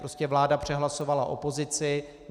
Prostě vláda přehlasovala opozici.